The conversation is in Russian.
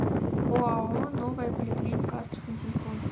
оао новая поликлиника астрахань телефон